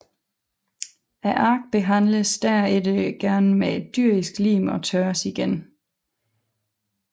Arkene behandles derpå gerne med dyrisk lim og tørres igen